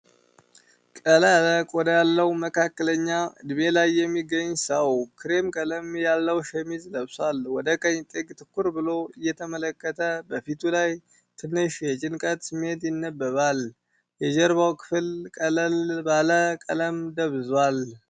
ቀላ ያለ ቆዳ ያለው መካከለኛ እድሜ ላይ የሚገኝ ሰው፣ ክሬም ቀለም ያለው ሸሚዝ ለብሷል። ወደ ቀኝ ጥግ ትኩር ብሎ እየተመለከተ፣ በፊቱ ላይ ትንሽ የጭንቀት ስሜት ይነበባል። የጀርባው ክፍል ቀለል ባለ ቀለም ደብዝዟል።